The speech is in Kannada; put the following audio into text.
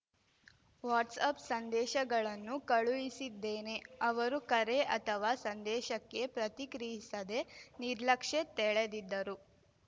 ವಾಟ್ಸ್ಅಪ್‌ ಸಂದೇಶಗಳನ್ನೂ ಕಳುಹಿಸಿದ್ದೇನೆ ಅವರು ಕರೆ ಅಥವಾ ಸಂದೇಶಕ್ಕೆ ಪ್ರತಿಕ್ರಿಯಿಸದೆ ನಿರ್ಲಕ್ಷ್ಯ ತೆಳೆದಿದ್ದರು